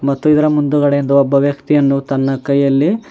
ಮತ್ತು ಇದರ ಮುಂದುಗಡೆಯಿಂದ ಒಬ್ಬ ವ್ಯಕ್ತಿಯನ್ನು ತನ್ನ ಕೈಯಲ್ಲಿ --